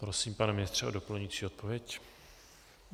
Prosím, pane ministře, o doplňující odpověď.